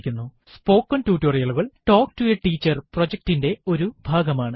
spoken ടുട്ടോറിയലുകൾ talk to a teacher പ്രൊജക്റ്റിറ്റിന്റെ ഒരു ഭാഗമാണ്